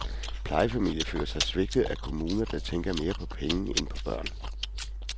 Plejefamilier føler sig svigtet af kommuner, der tænker mere på penge end på børn.